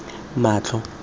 matlo